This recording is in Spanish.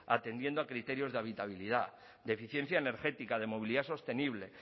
atendiendo a criterios de habitabilidad de eficiencia energética de movilidad sostenible